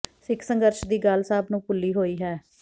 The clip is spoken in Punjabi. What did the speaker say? ਸਿੱਖ ਸੰਘਰਸ਼ ਦੀ ਗੱਲ ਸਭ ਨੂੰ ਭੁੱਲੀ ਹੋਈ ਹੈ